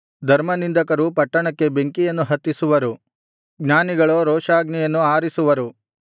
ಧರ್ಮನಿಂದಕರು ಪಟ್ಟಣಕ್ಕೆ ಬೆಂಕಿಯನ್ನು ಹತ್ತಿಸುವರು ಜ್ಞಾನಿಗಳೋ ರೋಷಾಗ್ನಿಯನ್ನು ಆರಿಸುವರು